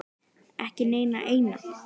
Ekki neina eina.